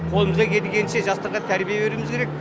қолымыздан келгенше жастарға тәрбие беруіміз керек